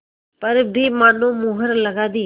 पर भी मानो मुहर लगा दी